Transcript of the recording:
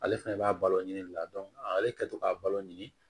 Ale fɛnɛ b'a balo nin de la ale kɛ tɔ k'a balo ɲini